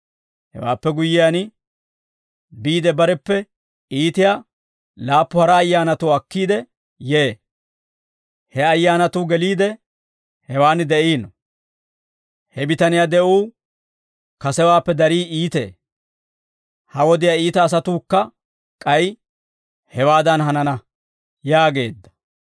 Hewaappe guyyiyaan, biide bareppe iitiyaa laappu hara ayyaanatuwaa akkiide yee; he ayyaanatuu geliide, hewaan de'iino. He bitaniyaa de'uu kasewaappe darii iitee. Ha wodiyaa iita asawukka k'ay hewaadan hanana» yaageedda.